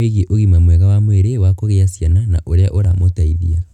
wĩgiĩ ũgima mwega wa mwĩrĩ wa kugĩa ciana na ũrĩa ũramũteithia.